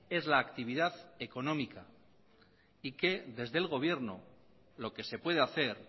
es la actividad económica y que desde el gobierno lo que se puede hacer